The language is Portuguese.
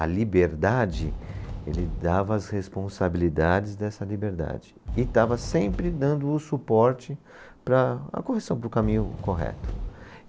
A liberdade, ele dava as responsabilidades dessa liberdade e estava sempre dando o suporte para a correção, para o caminho correto.